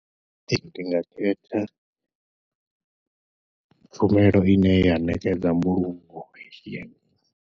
Ndi nga khetha tshumelo ine ya ṋekedza mbulungo ya.